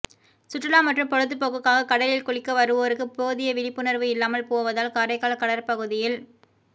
சுற்றுலா மற்றும் பொழுதுபோக்குக்காக கடலில் குளிக்க வருவோருக்கு போதிய விழிப்புணர்வு இல்லாமல் போவதால் காரைக்கால் கடற்பகுதியில்